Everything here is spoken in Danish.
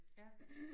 Ja